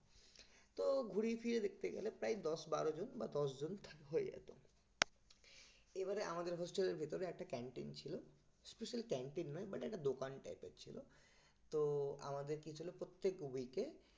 তো ঘুরিয়ে ফিরিয়ে দেখতে গেলে প্রায় দশ বারোজন বা দশজন হয়ে যেত এবারে আমাদের hostel এর ভেতরে একটা canteen ছিল special canteen নয় মানে একটা দোকান type এর ছিল তো আমাদের কি ছিল প্রত্যেক week এ